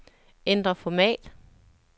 Ændr format.